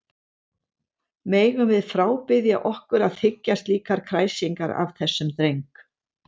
Megum við frábiðja okkur að þiggja slíkar kræsingar af þessum dreng.